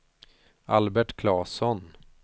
Albert Claesson